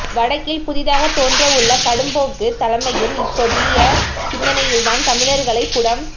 வடக்கில் புதிதாகத் தோன்றவுள்ள கடும்போக்குத் தலைமையும் இப்புதிய சிந்தனையில்தான் தமிழர்களைப் புடம்